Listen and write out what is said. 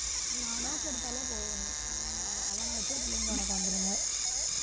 மனோக்கு எடுத்தாலே போதும் அவன வச்சே பிள்ளைங்க உனக்கு வந்துருங்க